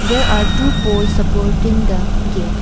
There are two poles supporting the gate.